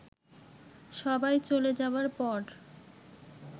সবাই চলে যাবার পর